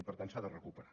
i per tant s’ha de recuperar